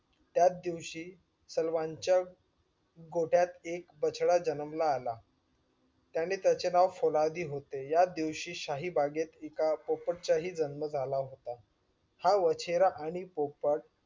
त्याच दिवशी सालवांचा गोठ्यात एक बछडा जन्मला आला त्याने त्याचे नाव फुलादी होते याच दिवशी शाही बागेत एका पोपट्चा हि जन्म झाला होता. हा वाचेरा आणि पोपट